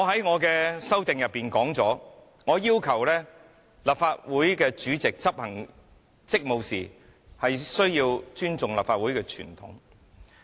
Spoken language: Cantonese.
我在修正案中，要求立法會主席執行職務時，需要尊重立法會傳統。